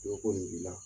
Dɔ ko nin b'i la